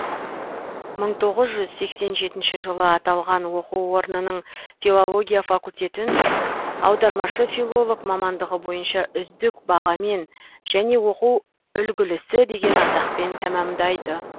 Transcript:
мың тоғыз жүз сексен жетінші жылы аталған оқу орнының филология факультетін аудармашы филолог мамандығы бойынша үздік бағамен және оқу үлгілісі деген атақпен тәмәмдайды